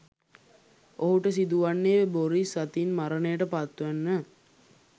ඔහුට සිදුවන්නේ බොරිස් අතින් මරණයට පත්වෙන්න.